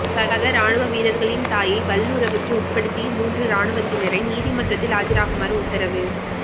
சக இராணுவ வீரர்களின் தாயை வல்லுறவுக்கு உட்படுத்திய மூன்று இராணுவத்தினரை நீதிமன்றத்தில் ஆஜராகுமாறு உத்தரவு